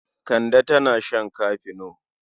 Kande tana shan kafino.